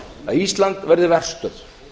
að ísland verði verstöð